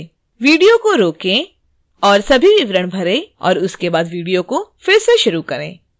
video को रोकें और सभी विवरण भरें और उसके बाद वीडियो फिर से शुरू करें